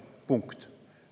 Punkt.